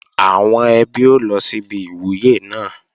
Àwọn ẹbí ó lọ síbi ìwúyè náà